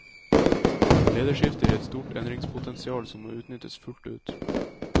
Lederskiftet gir et stort endringspotensial som må utnyttes fullt ut.